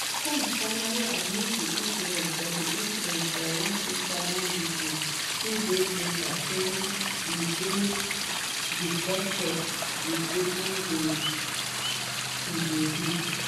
combs finally admit di incident for incident for one instagram video two days later saying e dey "disgusted" with wetin e bin do.